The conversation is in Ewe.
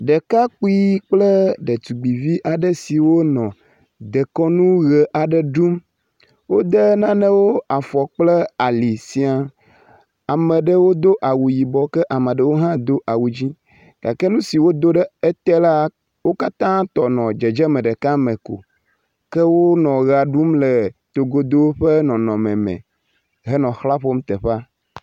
Ɖekakpui kple ɖetugbi vi aɖe siwo nɔ dekɔnu ʋe aɖe ɖum, wode nanewo afɔ kple ali siaa, ame ɖewo do awu yibɔ ke ame ɖewo hã do awu dzɛ̃gake nu si wodo ɖe ete la, wo katã tɔ nɔ dzedzem meɖeka me ko. Ke wonɔ ʋea ɖum le togodo ƒe nɔnɔme me henɔ ʋla ƒom teƒea.